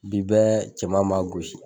Bi bɛɛ cɛman m'a gosi.